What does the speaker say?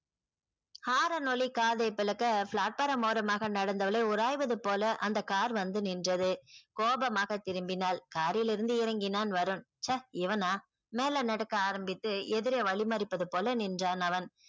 horn ஒலி காதை பிளக்க platform ஓரமாக நடந்தவளை உராய்வது போல அந்த கார் வந்து நின்றது. கோபமாக திரும்பினால் காரில் இருந்து இறங்கினான் வருண் ச்ச இவனா மேல நடக்க ஆரம்பித்து எதிரே வழி மரிப்பது போல நின்றான் அவன்